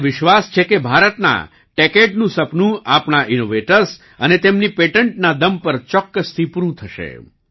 મને વિશ્વાસ છે કે ભારતના ટેચડે નું સપનું આપણા ઈનોવેટર્સ અને તેમની પેટન્ટના દમ પર ચોક્કસથી પૂરું થશે